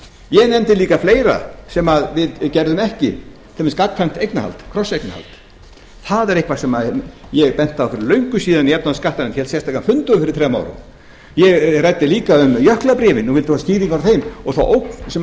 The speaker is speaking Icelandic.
ég nefndi líka fleira sem við gerðum ekki sem er gagnkvæmt eignarhald krosseignarhald það er eitthvað sem ég benti á fyrir löngu síðan í efnahags og skattanefnd hélt sérstakan fund um fyrir þrem árum ég ræddi líka um jöklabréfin og vildi fá skýringar á þeim og þá ógn sem